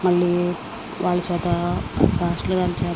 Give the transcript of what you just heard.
మళ్ళీ వాళ్ళ చేత పాస్టర్ గారి చేత --